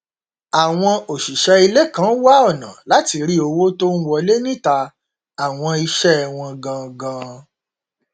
àwọn òṣìṣẹ ilé kan wá ọnà láti rí owó tó n wọlé níta àwọn iṣẹ wọn gangan